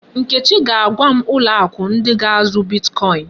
Nkechi ga-agwa m ụlọ akụ ndị ga-azụ bitkọin.